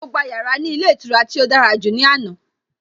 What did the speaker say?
Mo gba yàrá ní ilé ìtura tí ó dára jù ní àná.